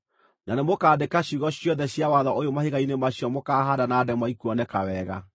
Na nĩmũkandĩka ciugo ciothe cia watho ũyũ mahiga-inĩ macio mũkaahaanda na ndemwa ikuoneka wega.”